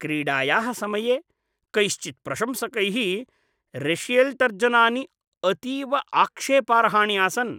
क्रीडायाः समये कैश्चित् प्रशंसकैः रेशियल्तर्जनानि अतीव आक्षेपार्हाणि आसन्।